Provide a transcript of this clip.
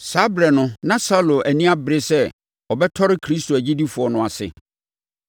Saa ɛberɛ no na Saulo ani abere sɛ ɔbɛtɔre Kristo akyidifoɔ no ase.